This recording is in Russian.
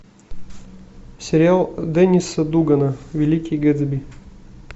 сериал денниса дугана великий гэтсби